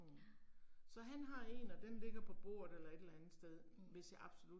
Ja. Mh